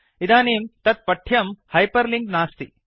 इदानीं तत् पठ्यं हैपर् लिंक् नास्ति